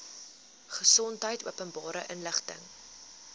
gesondheid openbare inligting